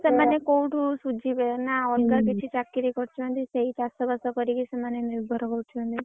ସେମାନେ କୋଉଠୁ ସୁଯିବେ ନା ଅଲଗା କିଛି ଚାକିରୀ କରିଛନ୍ତି ସେଇ ଚାଷବାସ କରିକି ସେମାନେ ନିର୍ଭର କରୁ ଛନ୍ତି।